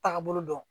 Taagabolo dɔn